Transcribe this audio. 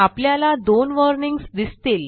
आपल्याला 2 वॉर्निंग्ज दिसतील